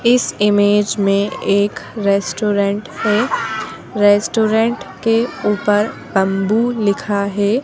इस इमेज में एक रेस्टोरेंट है रेस्टोरेंट के ऊपर बंबू लिखा है।